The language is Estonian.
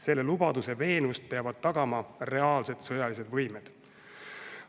Selle lubaduse veenvust peavad tagama reaalsed sõjalised võimed.